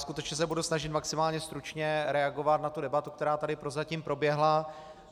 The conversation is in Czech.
Skutečně se budu snažit maximálně stručně reagovat na tu debatu, která tady prozatím proběhla.